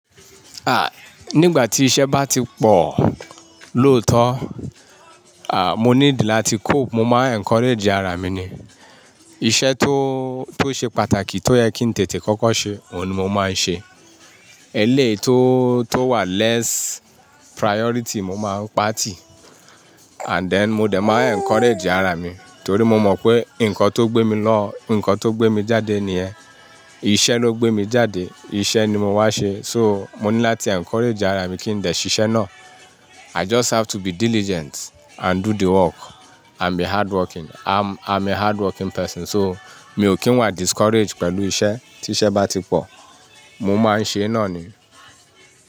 Ah, nígbà tí iṣẹ́ bá ti pọ̀, lóòótọ́, ah, mo need láti cope. Mo máa n encourage ara mi ni. Iṣẹ́ tó, tó ṣe pàtàkì tó yẹ kí n tètè kọ́kọ́ ṣe, òun ni mo máa ń ṣe. Eléyìí tó, tó wà less priority mo máa ń pàa tì. And then mo dẹ̀ máa encourage ara mi torí mo mọ̀ pé nǹkan tó gbé mi lọ, nǹkan tó gbé mi jáde nìyẹn. Iṣẹ́ ló gbé mi jáde, iṣẹ́ ni mo wá ṣe. So, mo ní láti encourage ara mi kí n dẹ ṣiṣẹ́ náà. I just have to be diligent and do the work and be hardworking. I'm, I'm a hardworking person so mi ò kí ń wà discourage pẹ̀lú iṣẹ́. Tí iṣẹ́ bá ti pọ̀, mo máa ń ṣe náà ni.